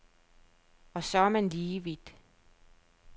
Og så er man lige vidt.